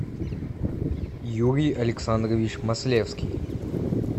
юрий александрович маслевский